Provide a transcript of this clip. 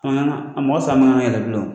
A ma kan a mɔgɔ saba ka na yɛrɛ bilen o